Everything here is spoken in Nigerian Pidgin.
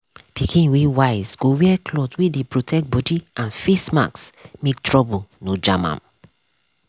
pikin wey wise go wear cloth wey dey protect body and face mask make trouble nor jam am.